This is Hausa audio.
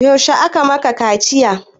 Yaushe aka maka kaciya?